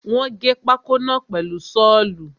Wọ́n gé pákó náà pẹ̀lú Ṣọ́ọ̀lù.